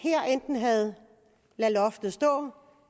havde ladet loftet stå